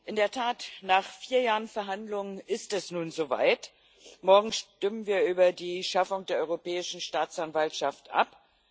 In der Tat, nach vier Jahren Verhandlungen ist es nun so weit Morgen stimmen wir über die Schaffung der Europäischen Staatsanwaltschaft ab.